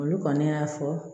Olu kɔni y'a fɔ